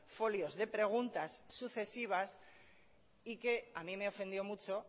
folios de preguntas sucesivas y que a mí me ofendió mucho